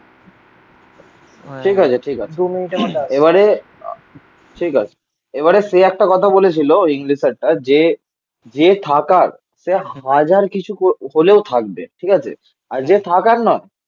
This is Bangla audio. ঠিক আছে ঠিক আছে এবারে ঠিক আছে. এবারে সেই একটা কথা বলেছিল ইংলিশ স্যারটা যে যে থাকার সে হাজার কিছু হলেও থাকবে. ঠিক আছে. আর যে থাকার নয়